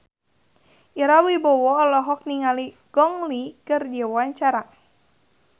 Ira Wibowo olohok ningali Gong Li keur diwawancara